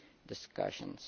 the discussions.